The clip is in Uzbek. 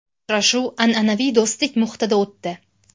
Uchrashuv an’anaviy do‘stlik muhitida o‘tdi.